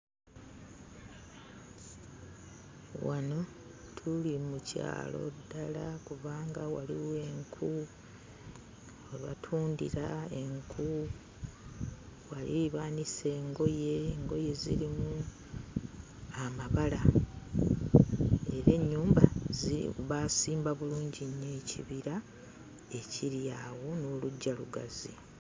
Wano tuli mu kyalo ddala kubanga waliwo enku, we batundira enku, wali baanise engoye, engoye zirimu amabala era ennyumba baasimba bulungi nnyo ekibira ekiri awo n'oluggya lugazi.